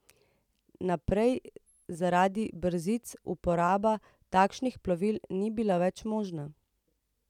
Naprej zaradi brzic uporaba takšnih plovil ni bila več možna.